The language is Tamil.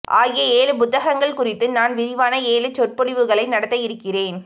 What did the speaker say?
ஆகிய ஏழு புத்தகங்கள் குறித்து நான் விரிவான ஏழு சொற்பொழிவுகளை நடத்த இருக்கிறேன்